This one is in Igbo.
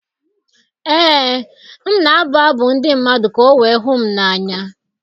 Ee, m na-abụ abụ ndị mmadụ ka o wee hụ m n’anya.